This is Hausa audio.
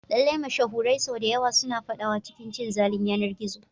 Lallai, mashahurai sau da yawa suna fadawa cikin cin zalin yanar gizo.